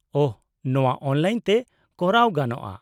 -ᱳᱦ, ᱱᱚᱶᱟ ᱚᱱᱞᱟᱭᱤᱱ ᱛᱮ ᱠᱚᱨᱟᱣ ᱜᱟᱱᱚᱜᱼᱟ ?